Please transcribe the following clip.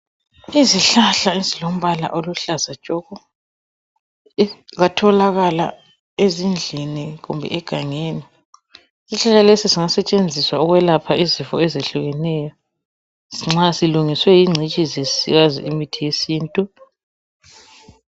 Izihlahla ezilombala oluhlaza tshoko. Kwatholakala ezindlini kumbe egangeni. Isihlahla lesi zingasetshenziswa ukwelapha izifo ezehlukeneyo nxa silungiswe yingcitshi esiyazi imithi yesintu.